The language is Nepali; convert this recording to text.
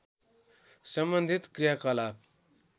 सम्बन्धित क्रियाकलाप